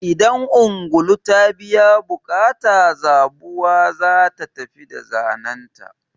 Idan ungulu ta biya buƙata, zabuwa ta tafi da zanenta.